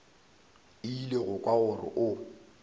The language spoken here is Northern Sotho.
ile go kwa gore o